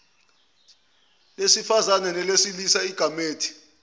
lesifazane nelesilisa igamethi